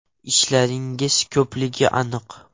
Ishlaringiz ko‘pligi aniq.